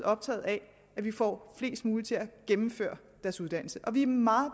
optaget af at vi får flest muligt til at gennemføre deres uddannelse vi er meget